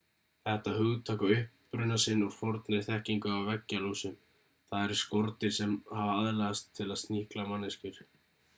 þetta hugtak á uppruna sinn úr fornri þekkingu á veggjalúsum það eru skordýr sem hafa aðlagast til að sníkla manneskjur